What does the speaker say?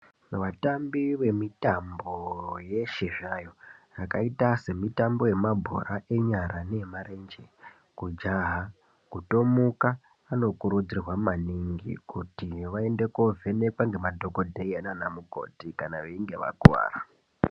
Vatambi vemitambo yeshe zvayo yakaita semitambo yemabhora enyara , neemarenje kujaha , kutomuka vanokurudzirwa maningi kuti vaende kovhenekwa nemadhokodheya nanamukoti kana veinge vakuwara.